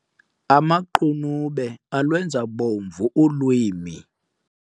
Amaqunube alwenza bomvu ulwimi.